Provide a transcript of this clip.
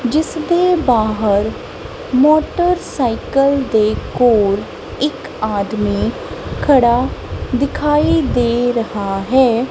ਜਿਸਦੇ ਬਾਹਰ ਮੋਟਰਸਾਈਕਲ ਦੇ ਕੋਲ ਇੱਕ ਆਦਮੀ ਖੜਾ ਦਿਖਾਈ ਦੇ ਰਹਾ ਹੈ।